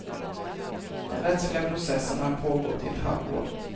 Den rättsliga processen har pågått i ett halvår.